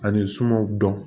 Ani sumanw dɔn